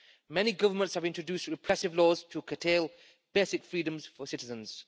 Many governments have introduced repressive laws to curtail basic freedoms for citizens.